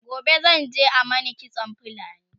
gobe zan je a Mani kitsan fulani